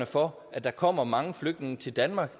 for at der kommer mange flygtninge til danmark